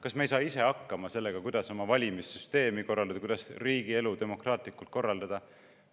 Kas me ei saa ise hakkama sellega, kuidas oma valimissüsteemi korraldada, kuidas riigielu demokraatlikult korraldada?